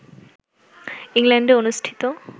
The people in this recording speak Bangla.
ইংল্যান্ডে অনুষ্ঠিত